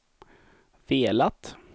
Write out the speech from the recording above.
velat